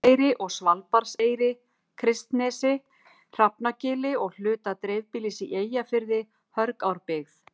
Hjalteyri og Svalbarðseyri, Kristnesi, Hrafnagili og hluta dreifbýlis í Eyjafirði, Hörgárbyggð